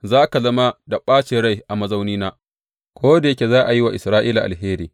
Za ka zama da ɓacin rai a mazaunina ko da yake za a yi wa Isra’ila alheri.